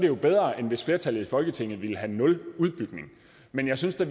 jo bedre end hvis flertallet i folketinget ville have nul udbygning men jeg synes da